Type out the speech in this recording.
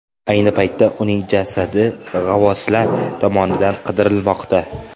Ayni paytda uning jasadi g‘avvoslar tomonidan qidirilmoqda.